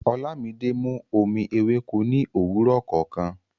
Olámídé mú omi èwéko ní owurọ kọọkan